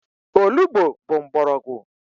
Olugbo bụ mgbọrọgwụ.